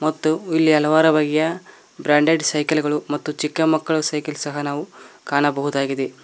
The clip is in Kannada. ಮತ್ತು ಇಲ್ಲಿ ಹಲವಾರು ಬಗೆಯ ಬ್ರಾಂಡೆಡ್ ಸೈಕಲ್ ಗಳು ಮತ್ತು ಚಿಕ್ಕ ಮಕ್ಕಳ ಸೈಕಲ್ ಸಹ ನಾವು ಕಾಣಬಹುದಾಗಿದೆ.